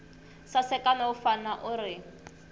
saseka no vonaka u ri